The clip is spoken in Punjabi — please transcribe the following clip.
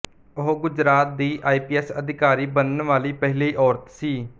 ਉਹ ਗੁਜਰਾਤ ਦੀ ਆਈ ਪੀ ਐਸ ਅਧਿਕਾਰੀ ਬਣਨ ਵਾਲੀ ਪਹਿਲੀ ਔਰਤ ਸੀ